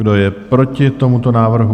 Kdo je proti tomuto návrhu?